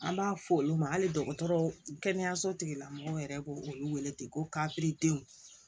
An b'a fɔ olu ma hali dɔgɔtɔrɔ kɛnɛyaso tigilamɔgɔw yɛrɛ k'o olu wele ko